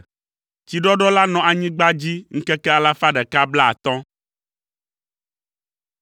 Tsiɖɔɖɔ la nɔ anyigba dzi ŋkeke alafa ɖeka blaatɔ̃.